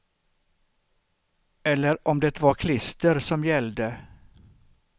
Eller om det var klister som gällde.